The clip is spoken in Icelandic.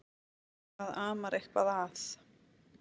Það amar eitthvað að.